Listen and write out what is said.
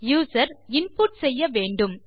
user input செய்ய வேண்டும்